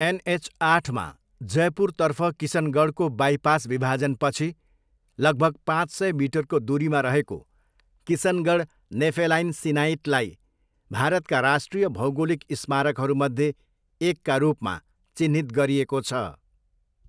NH आठमा जयपुरतर्फ किसनगढको बाइपास विभाजनपछि लगभग पाँच सय मिटरको दुरीमा रहेको किसनगढ नेफेलाइन सिनाइटलाई भारतका राष्ट्रिय भौगोलिक स्मारकहरूमध्ये एकका रूपमा चिह्नित गरिएको छ।